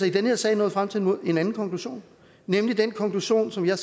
i den her sag nået frem til en anden konklusion nemlig den konklusion som jeg